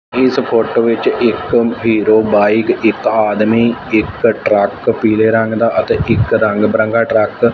ਇਸ ਫੋਟੋ ਵਿੱਚ ਇੱਕ ਹੀਰੋ ਬਾਈਕ ਇਕ ਆਦਮੀ ਇਕ ਟਰੱਕ ਪੀਲੇ ਰੰਗ ਦਾ ਅਤੇ ਇੱਕ ਰੰਗ ਬਰੰਗਾ ਟਰੱਕ --